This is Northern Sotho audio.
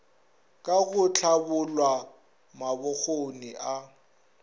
ka go hlabolla mabokgoni a